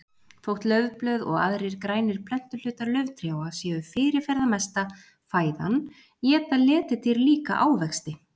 Þótt laufblöð og aðrir grænir plöntuhlutar lauftrjáa séu fyrirferðamesta fæðan éta letidýr líka ávexti.